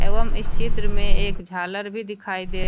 एवं इस चित्र में एक झालर भी दिखाई दे--